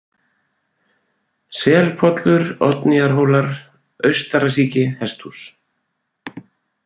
Selpollur, Oddnýjarhólar, Austarasíki, Hesthús